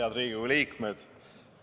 Head Riigikogu liikmed!